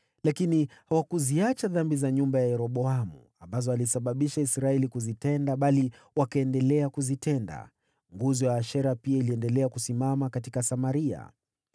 Lakini hawakuziacha dhambi za nyumba ya Yeroboamu, ambazo alisababisha Israeli kuzitenda, bali wakaendelea kuzitenda. Nguzo ya Ashera pia iliendelea kusimama katika Samaria.